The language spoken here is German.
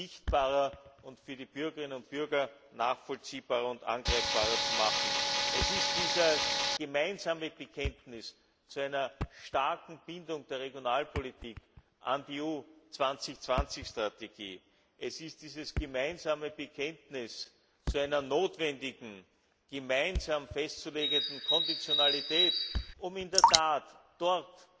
sichtbarer und für die Bürgerinnen und Bürger nachvollziehbarer und greifbarer zu machen. Es ist dieses gemeinsame Bekenntnis zu einer starken Bindung der Regionalpolitik an die EU 2020 Strategie, es ist dieses gemeinsame Bekenntnis zu einer notwendigen, gemeinsam festzulegenden Konditionalität, um in der Tat dort,